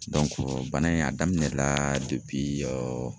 bana in a daminɛ la